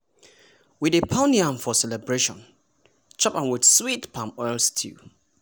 we dey pound yam for celebration chop am with sweet palm oil stew.